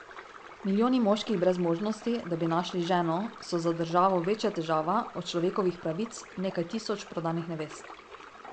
Milijoni moških brez možnosti, da bi našli ženo, so za državo večja težava od človekovih pravic nekaj tisoč prodanih nevest.